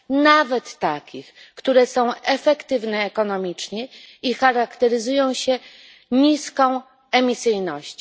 nawet takich, które są efektywne ekonomicznie i charakteryzują się niską emisyjnością.